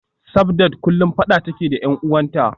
Sabdat kullum fada take da y'an uwanta